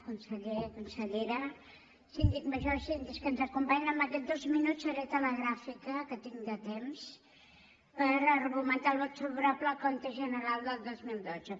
conseller consellera síndic major síndics que ens acompanyen amb aquests dos minuts seré telegràfica que tinc de temps per argumentar el vot favorable al compte general del dos mil dotze